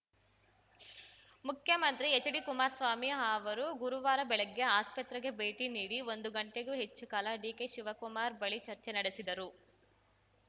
ಮುಖ್ಯಮಂತ್ರಿ ಎಚ್‌ಡಿ ಕುಮಾರಸ್ವಾಮಿ ಅವರು ಗುರುವಾರ ಬೆಳಗ್ಗೆ ಆಸ್ಪತ್ರೆಗೆ ಭೇಟಿ ನೀಡಿ ಒಂದು ಗಂಟೆಗೂ ಹೆಚ್ಚು ಕಾಲ ಡಿಕೆಶಿವಕುಮಾರ್‌ ಬಳಿ ಚರ್ಚೆ ನಡೆಸಿದರು